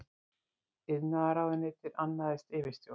Iðnaðarráðuneytið annaðist yfirstjórn.